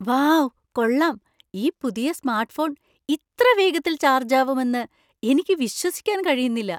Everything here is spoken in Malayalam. വൗ , കൊള്ളാം, ഈ പുതിയ സ്‌മാർട്ട്‌ഫോൺ ഇത്ര വേഗത്തിൽ ചാർജ് ആവുമെന്ന് എനിക്ക് വിശ്വസിക്കാൻ കഴിയുന്നില്ല!